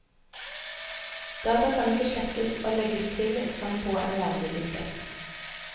Data kan ikke slettes og legges til som på en vanlig diskett.